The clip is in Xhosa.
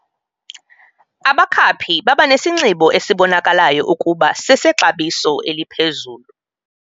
Abakhaphi babanesinxibo esibonakalayo ukuba sesexabiso eliphezulu.